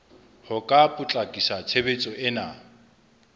ho ka potlakisa tshebetso ena